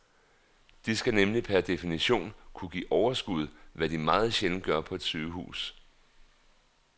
De skal nemlig per definition kunne give overskud, hvad de meget sjældent gør på et sygehus.